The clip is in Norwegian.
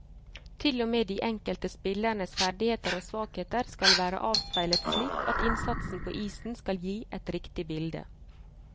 Til og med de enkelte spillernes ferdigheter og svakheter skal være avspeilet slik at innsatsen på isen skal gi et riktig bilde.